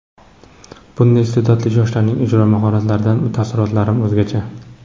Bunday iste’dodli yoshlarning ijro mahoratlaridan taassurotlarim o‘zgacha.